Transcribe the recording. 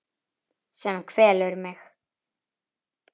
Sem kvelur mig.